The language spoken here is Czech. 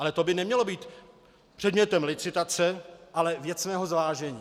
Ale to by nemělo být předmětem licitace, ale věcného zvážení.